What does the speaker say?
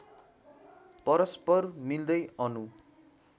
परस्पर मिल्दै अणु